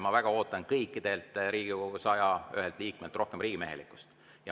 Ma väga ootan kõigilt Riigikogu 101 liikmelt rohkem riigimehelikkust.